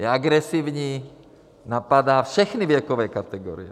Je agresivní, napadá všechny věkové kategorie.